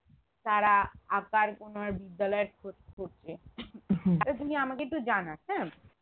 তারা আঁকার কোনো বিদ্যালয়ের খোঁজ করছে তাহলে তুমি আমাকে একটু জানাস হ্যাঁ